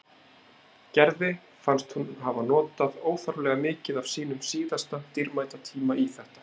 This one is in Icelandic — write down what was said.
Gerði fannst hún hafa notað óþarflega mikið af sínum síðasta dýrmæta tíma í þetta.